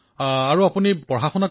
প্ৰধানমন্ত্ৰীঃ আপুনি কত পঢ়ি আছে